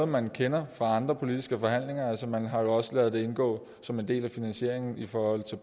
man kender fra andre politiske forhandlinger man har jo også ladet det indgå som en del af finansieringen i forhold til